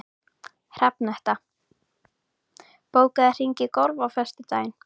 Hrafnhetta, bókaðu hring í golf á föstudaginn.